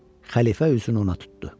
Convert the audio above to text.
Xəlifə üzünü ona tutdu.